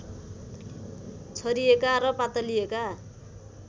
छरिएका र पातलिएका